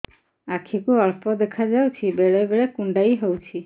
ଆଖି କୁ ଅଳ୍ପ ଦେଖା ଯାଉଛି ବେଳେ ବେଳେ କୁଣ୍ଡାଇ ହଉଛି